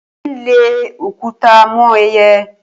Ó ń lẹ òkúta mọ́ ẹyẹ.